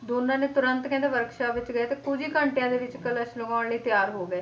ਦੋਨਾਂ ਨੇ ਤੁਰੰਤ ਕਹਿੰਦੇ workshop ਵਿੱਚ ਗਏ ਤੇ ਕੁੱਝ ਹੀ ਘੰਟਿਆਂ ਦੇ ਵਿੱਚ ਕਲਸ਼ ਲਗਾਉਣ ਲਈ ਤਿਆਰ ਹੋ ਗਏ,